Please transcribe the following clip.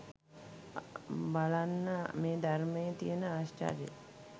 බලන්න මේ ධර්මයේ තියෙන ආශ්චර්යය